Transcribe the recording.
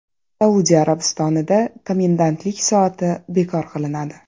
Saudiya Arabistonida komendantlik soati bekor qilinadi.